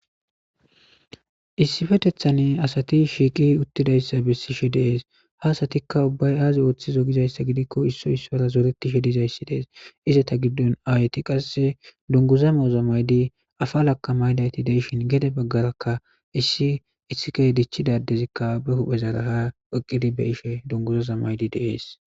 Issippetethan asati shiiqi uttidaysa besishe de'es. Ha asatika ubbay ay oothizo gizaysa gidikon Issoy issara zoretishe dizaysi dees. Ayetika qase dunguza mayoza mayidi apala mayidayti de'ishin gede bagaraka issi ba hu'eza dic'ida addezi ha eqidi be hu'ezara xeelishe beetes.